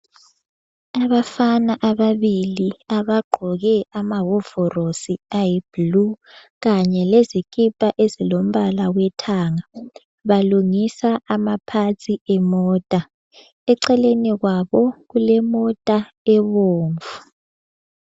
Abafana ababili abagqoke amahovorosi ayi-blue kanye lezikipa ezilombala wethanga balungisa ama parts emota. Eceleni kwabo kulemota ebomvu.